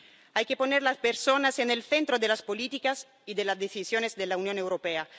Hay que poner a las personas en el centro de las políticas y de las decisiones de la Unión Europea.